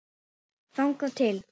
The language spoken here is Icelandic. Þangað til